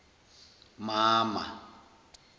mama